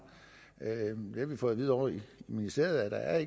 fået at vide ovre i ministeriet at